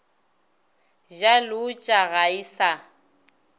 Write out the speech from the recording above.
ja leotša ga e sa